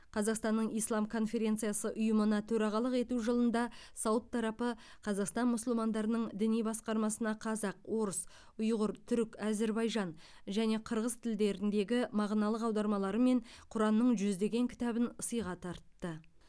қазақстанның ислам конференциясы ұйымына төрағалық ету жылында сауд тарапы қазақстан мұсылмандарының діни басқармасына қазақ орыс ұйғыр түрік әзербайжан және қырғыз тілдеріндегі мағыналық аудармаларымен құранның жүздеген кітабын сыйға тартты